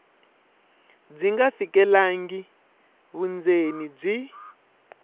byi nga fikelelangi vundzeni byi